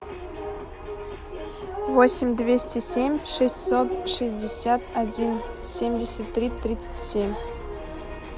восемь двести семь шестьсот шестьдесят один семьдесят три тридцать семь